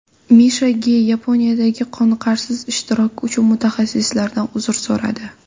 Misha Ge Yaponiyadagi qoniqarsiz ishtiroki uchun muxlislaridan uzr so‘radi.